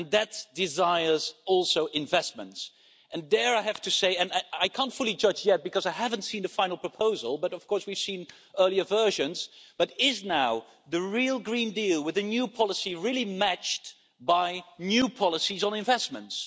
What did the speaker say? And that also desires investment, and there I have to say and I can't fully judge yet because I haven't seen the final proposal, but of course we've seen earlier versions but is now the real Green Deal, with a new policy, really matched by new policies on investments?